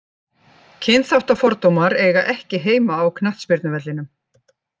Kynþáttafordómar eiga ekki heima á knattspyrnuvellinum.